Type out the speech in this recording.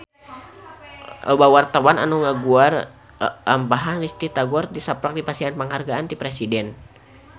Loba wartawan anu ngaguar lalampahan Risty Tagor tisaprak dipasihan panghargaan ti Presiden